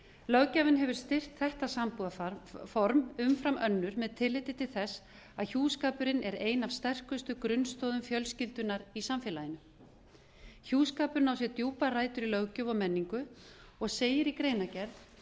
löggjafinn hefur styrkt þetta sambúðarform umfram önnur með tilliti til þess að hjúskapurinn er ein af sterkustu grunnstoðum fjölskyldunnar í samfélaginu hjúskapurinn á sér djúpar rætur í löggjöf og menningu og segir í greinargerð